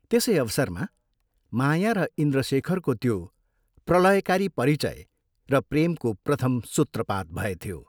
त्यसै अवसरमा माया र इन्द्रशेखरको त्यो प्रलयकारी परिचय र प्रेमको प्रथम सूत्रपात भएथ्यो।